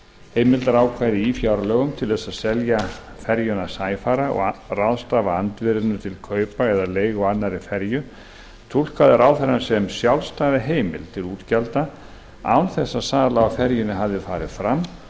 heimildarákvæði í fjárlögum til þess að selja ferjuna sæfara og ráðstafa andvirðinu til kaupa eða leigu á annarri ferju túlkaði ráðherrann sem sjálfstæða heimild til útgjalda án þess að sala á ferjunni hafði farið fram